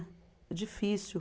É difícil.